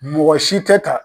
Mɔgɔ si tɛ ka